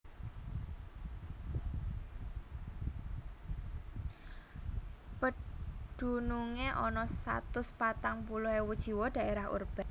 Pedunungé ana satus patang puluh ewu jiwa dhaérah urban